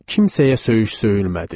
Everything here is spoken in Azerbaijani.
Kimsəyə söyüş söyülmədi.